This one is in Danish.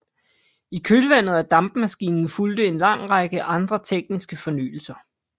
I kølvandet af dampmaskinen fulgte en lang række andre tekniske fornyelser